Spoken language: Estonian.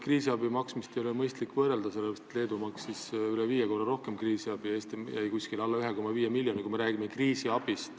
Kriisiabi maksmist ei ole vist Leeduga mõistlik võrrelda, sellepärast et Leedu maksis üle viie korra rohkem kriisiabi, Eestis jäi see alla 1,5 miljoni.